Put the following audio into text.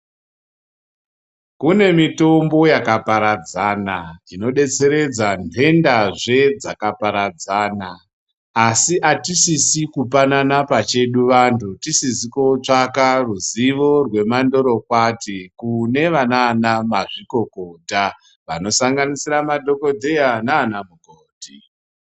Kunemitombo yakaparadzana inodetseredza nhendazve rakaparadzana asi atisisi kupanana pachedu vantu tisizi kotsvaka ruzuvo remandorokwati kunana mazvikokota vanosanganisira madhokodheya nana mukoti